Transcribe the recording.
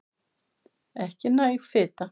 Ekki næg fita